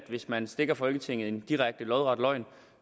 hvis man stikker folketinget en direkte lodret løgn